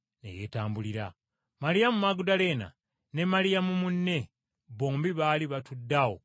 Maliyamu Magudaleene ne Maliyamu munne, bombi baali batudde awo kumpi n’entaana.